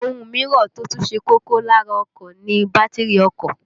Ohun mìíràn tó tún ṣe kókó lára ọkọ̀ ni bátìrì ọkọ̀